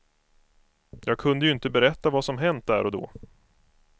Jag kunde ju inte berätta vad som hänt där och då.